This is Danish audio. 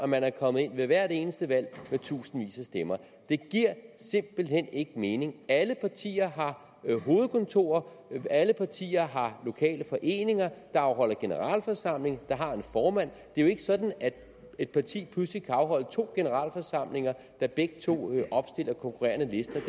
man er kommet ind ved hvert eneste valg med tusindvis af stemmer det giver simpelt hen ikke mening alle partier har hovedkontorer og alle partier har lokale foreninger der afholder generalforsamling og har en formand det er jo ikke sådan at et parti pludselig kan afholde to generalforsamlinger der begge opstiller konkurrende lister det